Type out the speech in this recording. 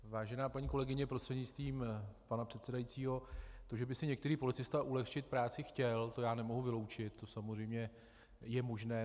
Vážená paní kolegyně prostřednictvím pana předsedajícího, to, že by si některý policista ulehčit práci chtěl, to já nemohu vyloučit, to samozřejmě je možné.